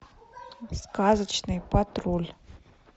сказочный патруль